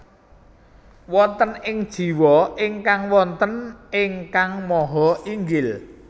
Wonten ing jiwa ingkang wonten Ingkang Maha Inggil